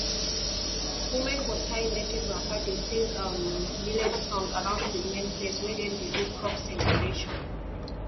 women go tie native wrapper dey sing um millet song around the main place wey dem dey do crop celebration